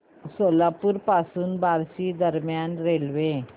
सोलापूर पासून बार्शी दरम्यान रेल्वे